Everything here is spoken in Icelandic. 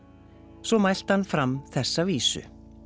svo mælti hann fram þessa vísu